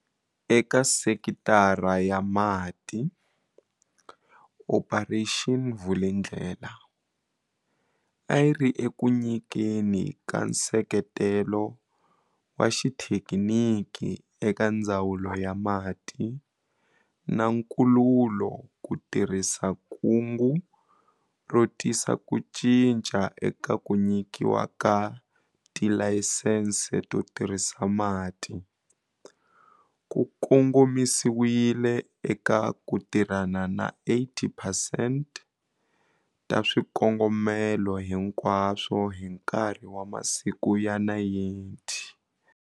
Eka sekitara ya mati, Operation Vulindlela, a yi ri eku nyikeni ka nseketelo wa xithekiniki eka Ndzawulo ya Mati na Nkululo ku tirhisa kungu ro tisa ku cinca eka ku nyikiwa ka tilayisense to tirhisa mati, ku kongomisiwile eka ku tirhana na 80 percent ta swikongomelo hinkwaswo hi nkarhi wa masiku ya 90.